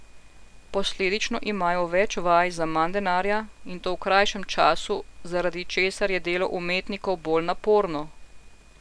Posledično imajo več vaj za manj denarja, in to v krajšem času, zaradi česar je delo umetnikov bolj naporno.